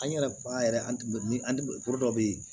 An yɛrɛ an yɛrɛ an bɛ an bɛ foro dɔ bɛ yen